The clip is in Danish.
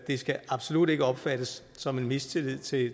skal absolut ikke opfattes som en mistillid til det